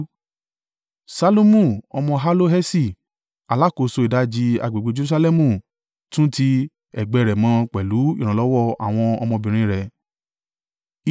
Ṣallumu ọmọ Halloheṣi, alákòóso ìdajì agbègbè Jerusalẹmu tún ti ẹ̀gbẹ́ rẹ̀ mọ pẹ̀lú ìrànlọ́wọ́ àwọn ọmọbìnrin rẹ̀.